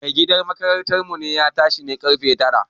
Mai gadin makarantar mu ya na tashi ne ƙarfe tara